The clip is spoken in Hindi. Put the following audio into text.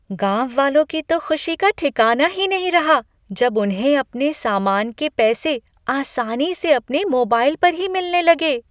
गाँववालों की तो खुशी का ठिकाना ही नहीं रहा जब उन्हें अपने सामान के पैसे आसानी से अपने मोबाइल पर ही मिलने लगे।